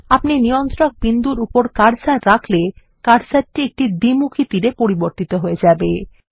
আপনি নিয়ন্ত্রণ বিন্দুর উপর কার্সার রাখলে কার্সারটি একটি দ্বিমুখী তীরে পরিবর্তিত হয়ে যাবে